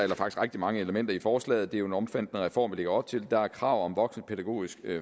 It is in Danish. rigtig mange elementer i forslaget det er jo en omfattende reform vi lægger op til der er krav om et voksenpædagogisk